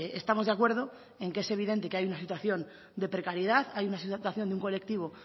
estamos de acuerdo en que es evidente que hay una situación de precariedad hay una situación de un colectivo